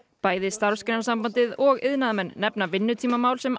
bæði Starfsgreinasambandið og iðnaðarmenn nefna vinnutímamál sem